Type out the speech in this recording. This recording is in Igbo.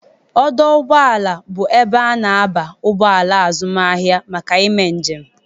Ọdọ ụgbọala bụ ebe a na-aba ụgbọala azụmaahịa maka ime njem..